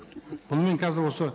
бұнымен қазір осы